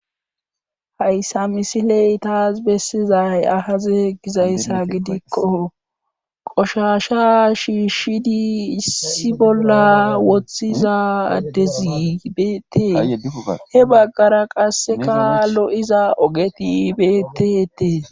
hayssa misiley taas bessizay aze gizayssa gidikko qoshasha shiishshidi issi bolla woththiza addezi beetee he baggara qasseka lo7iza ogeti beteetee